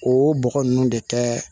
O bɔgɔ ninnu de kɛ